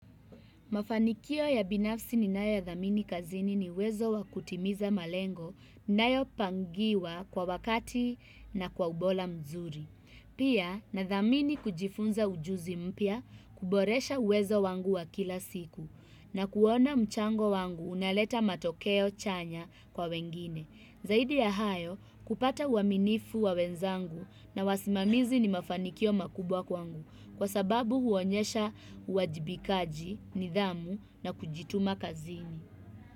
Mafanikio ya binafsi ninayoyadhamini kazini ni uwezo wa kutimiza malengo ninayopangiwa kwa wakati na kwa ubora mzuri. Pia nadhamini kujifunza ujuzi mpya, kuboresha uwezo wangu wa kila siku na kuona mchango wangu unaleta matokeo chanya kwa wengine. Zaidi ya hayo kupata uaminifu wa wenzangu na wasimamizi ni mafanikio makubwa kwangu kwa sababu huonyesha uwajibikaji, nidhamu na kujituma kazini.